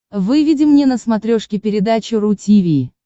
выведи мне на смотрешке передачу ру ти ви